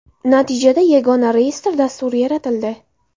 Natijada yagona reyestr dasturi yaratildi.